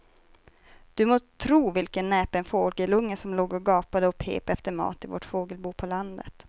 Du må tro vilken näpen fågelunge som låg och gapade och pep efter mat i vårt fågelbo på landet.